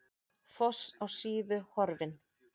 Foss á Síðu horfinn